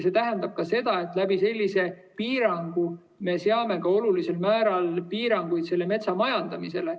See tähendab ka seda, et sellise piiranguga me seame olulisel määral piiranguid ka selle metsa majandamisele.